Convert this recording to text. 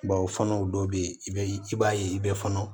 Bawo fana o dɔw bɛ yen i bɛ i b'a ye i bɛ fɔnɔ